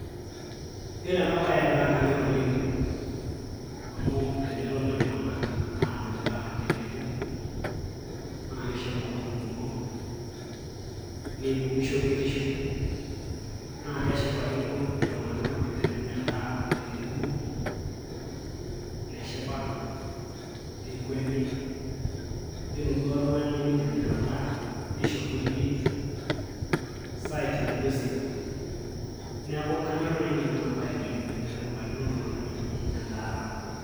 iyiolo ena bae naa kanyor oleng amu tenetoni iltungana aanya edaa tenebo.na kishoru olning'o neibung shoruetisho. naa keshipakino iltunganak tenenya edaa tenebo. neshipa, nekweni, iyiolo duoo oltungani lemeidim ena daa neisho irkulie psyche nainosie. neeku kanyor naji nanu ena bae oleng teneikunakino iltunganak iji edaata.